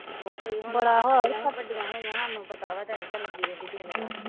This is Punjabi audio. ਵਡੀਆਂ ਹੋਇਆ ਸਾਨੂੰ ਪਤਾ ਵਾ ਟੈਨਸ਼ਨ ਲੱਗੀ ਰਹਿੰਦੀ ਦਿਨ ਰਾਤ